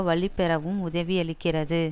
வலுப்பெறவும் உதவியிருக்கிறது